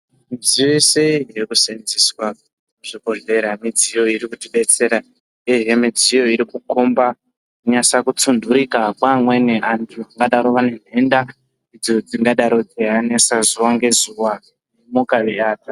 Midziyo yese iri kuseenzeeswa muzvibhodhlera,,midziyo iri kutibetsera uyehe midziyo iri kukhomba kunyasa kutsunturika kwaamweni antu, vangadaro vane ntenda, idzo dzingadaro dzeianesa zuwa ngezuwa.